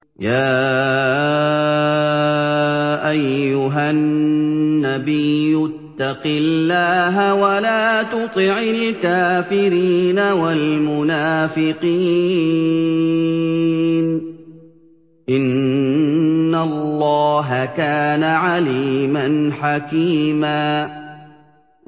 يَا أَيُّهَا النَّبِيُّ اتَّقِ اللَّهَ وَلَا تُطِعِ الْكَافِرِينَ وَالْمُنَافِقِينَ ۗ إِنَّ اللَّهَ كَانَ عَلِيمًا حَكِيمًا